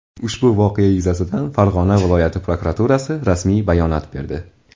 Ushbu voqea yuzasidan Farg‘ona viloyati prokuraturasi rasmiy bayonot berdi .